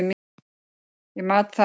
Ég mat það og met.